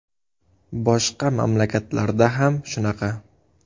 Boshqa mamlakatlarda ham shunaqa.